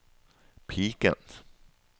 piken